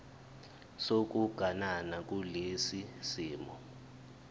sokuganana kulesi simo